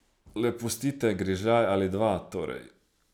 Le pustite grižljaj ali dva, torej.